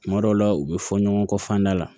Tuma dɔw la u bɛ fɔ ɲɔgɔn kɔ fanda la